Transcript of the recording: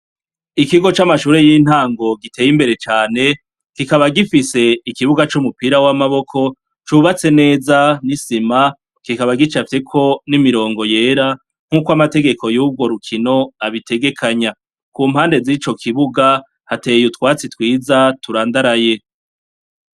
Ikigo c'amashure y'intango giteye imbere cane kikaba gifise ikibuga c'umupira w'amaboko cubatse neza n'isima kikaba gicafyeko n'imirongo yera nk'uko amategeko y'urwo rukino abitegekanya, ku mpande z'ico kibuga hateye utwatsi twiza turandaraye.